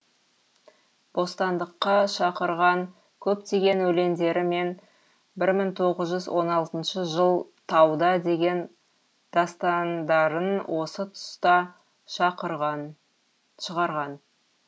бостандыққа шақырған көптеген өлеңдері мен бір мың тоғыз жүз он алтыншы жыл тауда деген дастандарын осы тұста шығарған